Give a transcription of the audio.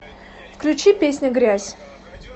включи песня грязь